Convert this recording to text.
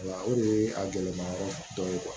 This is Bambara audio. O de ye a gɛlɛma yɔrɔ dɔ ye